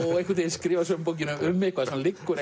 skrifa sömu bókina um eitthvað sem liggur